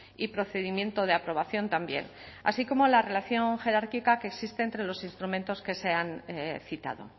y procedimiento de aprobación también así como la relación jerárquica que existe entre los instrumentos que se han citado